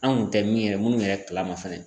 Anw kun tɛ min yɛrɛ minnu yɛrɛ kalama fɛnɛ.